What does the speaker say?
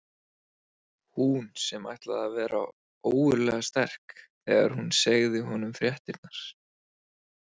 Hún sem ætlaði að vera ógurlega sterk þegar hún segði honum fréttirnar.